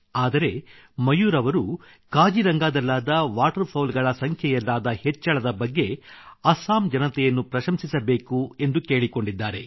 ಆದರೆ ಮಯೂರ್ ಅವರು ಕಾಜಿರಂಗಾದಲ್ಲಾದ ವಾಟರ್ ಫೌಲ್ ಗಳ ಸಂಖ್ಯೆಯಲ್ಲಾದ ಹೆಚ್ಚಳದ ಬಗ್ಗೆ ಅಸ್ಸಾಂ ಜನತೆಯನ್ನು ಪ್ರಶಂಸಿಸಬೇಕೆಂದು ಕೇಳಿಕೊಂಡಿದ್ದಾರೆ